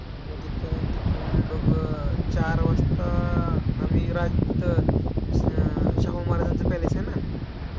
मग तिथं तिथून बघ चार वाजता, आम्ही रा तिथं अं शाहू महाराजांचं palace आहे ना.